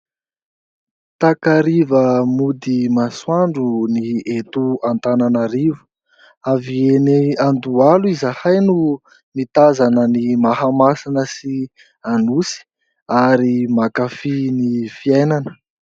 Takariva mody masoandro ny eto Antananarivo, avy eny Andohalo izahay no nitazana ny Mahamasina sy Anosy ary mankafỳ ny fiainana.